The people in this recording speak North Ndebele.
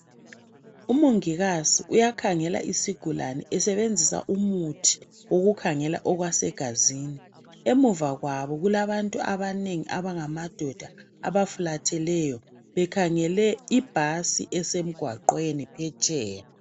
umongikazi yakhangela isigulane esebenzisa umuthi wokukhangela okwase gazini emuva kwabo kulabantu abanengi abangamadoda abafulatheleyo bekhangele ibhasi esemgwaqweni phetsheya